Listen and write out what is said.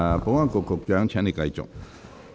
保安局局長，請繼續發言。